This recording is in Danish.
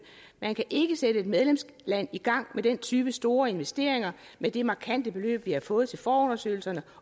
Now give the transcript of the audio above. man kan ikke sætte et medlemsland i gang med den type store investeringer med det markante beløb vi har fået til forundersøgelserne